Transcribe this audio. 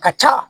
Ka ca